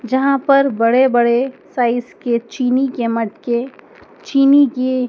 जहाँ पर बड़े बड़े साइज़ के चीनी के मटके चीनी के --